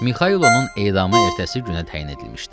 Mixaylonun edamı ertəsi günə təyin edilmişdi.